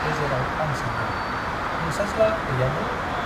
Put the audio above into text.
गेजेराव आं सोंदों- नोंसाज्ला गैयामोन ?